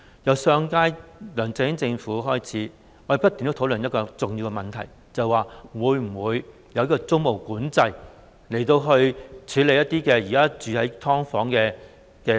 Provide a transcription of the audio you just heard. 自上屆梁振英政府開始，我們已不斷地討論一個重要問題，便是會否實行租務管制，以幫助現時住在"劏房"的市民。